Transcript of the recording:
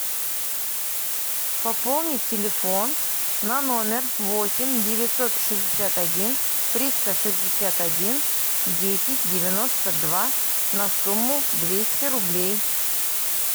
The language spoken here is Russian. пополнить телефон на номер восемь девятьсот шестьдесят один триста шестьдесят один десять девяносто два на сумму двести рублей